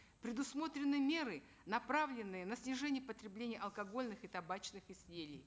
предусмотрены меры направленные на снижение потребления алкогольных и табачных изделий